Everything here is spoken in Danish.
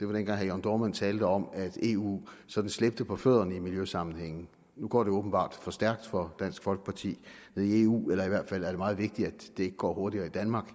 det var dengang herre jørn dohrmann talte om at eu sådan slæbte på fødderne i miljøsammenhænge nu går det åbenbart for stærkt for dansk folkeparti nede i eu eller i hvert fald er det meget vigtigt at det ikke går hurtigere i danmark